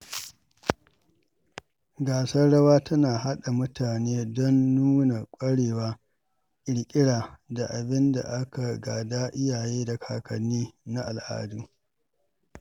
Gasar rawa tana haɗa mutane don nuna ƙwarewa, ƙirƙira, da abin da aka gada iyaye da kakanni na al’adu.